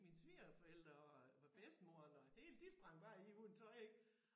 Mine svigerforældre og hvad bedstemoren og hele de sprang bare i uden tøj ik